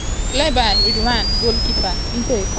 cleared by rwanda goalkeeper into a corner.